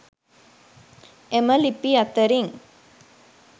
එම ලිපි අතරින්